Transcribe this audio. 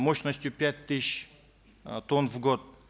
мощностью пять тысяч э тонн в год